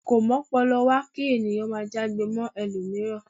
Ko m'ọ́pọlọwá ki ènìyàn máà já'gbe mọ ẹlomiran.